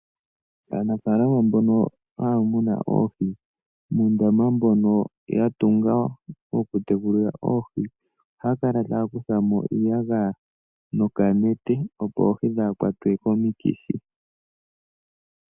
Aanafaalama mboka haya munu oohi ohaya kala taya kutha mo iiyagaya muundama mboka haya munine oohi, opo oohi kaadhi kwatwe komikithi.